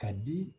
Ka di